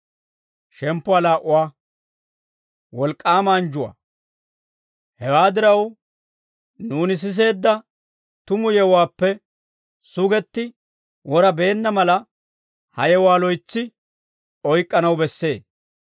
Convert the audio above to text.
Hewaa diraw, nuuni siseedda tumu yewuwaappe sugetti wora beenna mala, he yewuwaa loytsi oyk'k'anaw bessee.